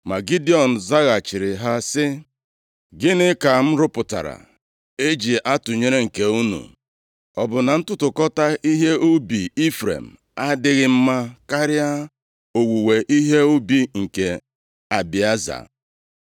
Ma Gidiọn zaghachiri ha sị, “Gịnị ka m rụpụtara e ji atụnyere nke unu. Ọ bụ na ntụtụkọta ihe ubi Ifrem adịghị mma karịa owuwe ihe ubi nke Abieza?